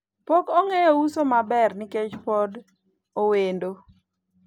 pok ong'eyo uso maber nikech pod owendo